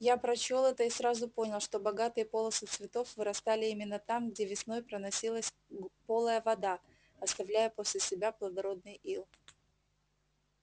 я прочёл это и сразу понял что богатые полосы цветов вырастали именно там где весной проносилась полая вода оставляя после себя плодородный ил